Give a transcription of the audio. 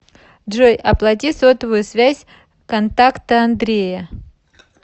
джой оплати сотовую связь контакта андрея